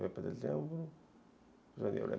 janeiro